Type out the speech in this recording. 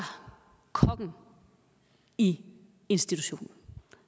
kokken i institutionen